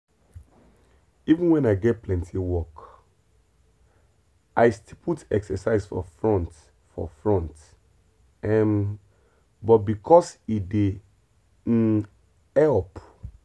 even when i get plenty work i still put exercise for front for front um because e dey um help.